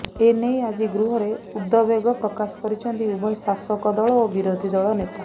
ଏନେଇ ଆଜି ଗୃହରେ ଉଦବେଗ ପ୍ରକାଶ କରିଛନ୍ତି ଉଭୟ ଶାସକ ଦଳ ଓ ବିରୋଧୀ ନେତା